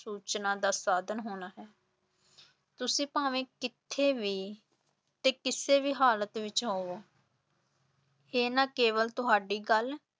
ਸੂਚਨਾ ਦਾ ਸਾਧਨ ਹੋਣਾ ਹੈ ਤੁਸੀਂ ਭਾਵੇਂ ਕਿੱਥੇ ਵੀ ਅਤੇ ਕਿਸੇ ਵੀ ਹਾਲਤ ਵਿਚ ਹੋਵੋ ਇਹ ਨਾ ਕੇਵਲ ਤੁਹਾਡੀ ਗੱਲ